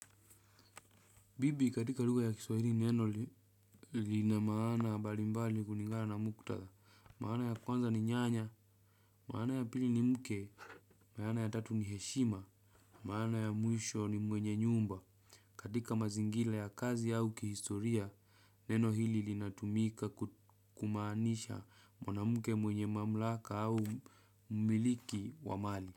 Bibi katika lugha ya kiswahili neno lina maana mbali mbali kulingana na mutadha, maana ya kwanza ni nyanya, maana ya pili ni mke, maana ya tatu ni heshima, maana ya mwisho ni mwenye nyumba. Katika mazingira ya kazi au kihistoria, neno hili linatumika kumaanisha mwanamke mwenye mamlaka au umiliki wa mali.